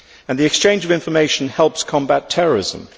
The exchange of information helps combat terrorism.